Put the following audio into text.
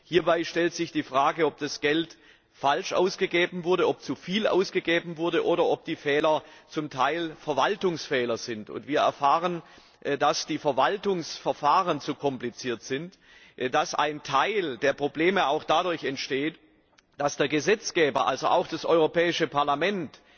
Hierbei stellt sich die Frage, ob das Geld falsch ausgegeben wurde, ob zu viel ausgegeben wurde oder ob die Fehler zum Teil Verwaltungsfehler sind. Und wir erfahren, dass die Verwaltungsverfahren zu kompliziert sind und ein Teil der Probleme auch dadurch entsteht, dass der Gesetzgeber, also auch das Europäische Parlament,